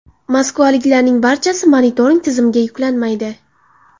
Moskvaliklarning barchasi monitoring tizimiga yuklanmaydi.